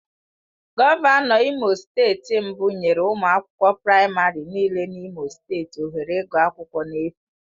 Gọvanọ Imo steeti mbụ nyere ụmụ akwụkwọ praịmarị nịle na imo steeti ohere ịgụ akwụkwọ na-efu.